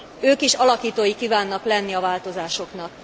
Ők is alakítói kívánnak lenni a változásoknak.